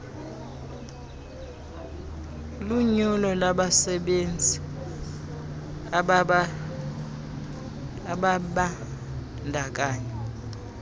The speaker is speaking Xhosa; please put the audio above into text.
lunyulo labasebenzi ababandakanya